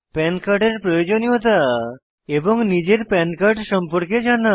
পান কার্ডের প্রয়োজনীয়তা এবং নিজের পান কার্ড সম্পর্কে জানা